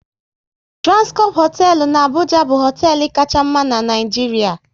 Transcorp hoteelu n'Abuja bụ hoteelu Kacha mma n'Naijiria